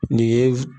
Nin ye